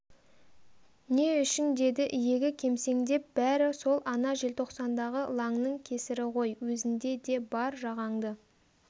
не үшін деді иегі кемсеңдеп бәрі сол ана желтоқсандағы лаңның кесірі ғой өзінде де бар жағаңды